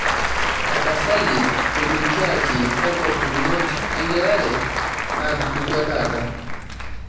tapasali tolikioki kakua pukunot engelare natupukuo taata